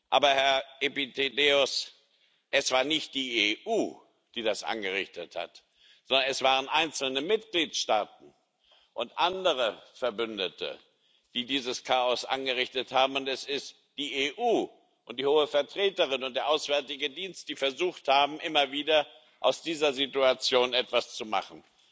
Aber, Herr Epitideios, es war nicht die EU, die das angerichtet hat, sondern es waren einzelne Mitgliedstaaten und andere Verbündete, die dieses Chaos angerichtet haben. Und es ist die EU und die Hohe Vertreterin und der Auswärtige Dienst, die immer wieder versucht haben, aus dieser Situation etwas zu machen.